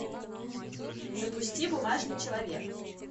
запусти бумажный человек